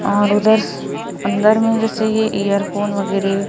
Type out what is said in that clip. और उधर अंदर में जैसे ये ईयर फोन वगैरह--